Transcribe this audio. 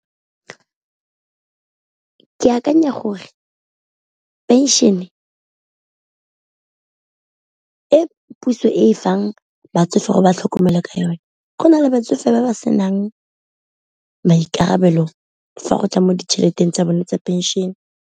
Ke akanya gore pension e puso e fang batsofe go ba tlhokomele ka yone, go na le batsofe ba ba senang maikarabelo fa go tla mo ditšheleteng tsa bone tsa pension.